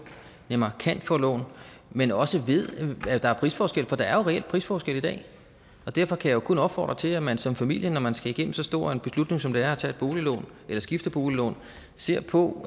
nemmere kan få lån men også at at der er prisforskelle for der er jo reelt prisforskelle i dag derfor kan jeg kun opfordre til at man som familie når man skal igennem så stor en beslutning som det er at tage et boliglån eller skifte boliglån ser på